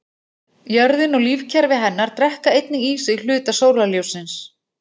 Jörðin og lífkerfi hennar drekka einnig í sig hluta sólarljóssins.